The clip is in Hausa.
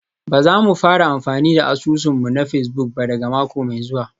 Ba za mu fara amfani da asusun mu na Facebook ba daga mako mai zuwa